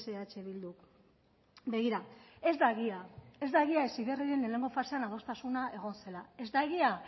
eh bilduk begira ez da egia ez da egia heziberriren lehengo fasean adostasuna egon zela ez da egia